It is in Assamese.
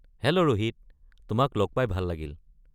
হেল্ল' ৰোহিত, তোমাক লগ পাই ভাল লাগিল।